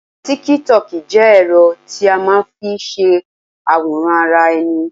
TíkíTokì jẹ́ ẹ̀rọ tí a máa n fi se àwòrán ara ẹni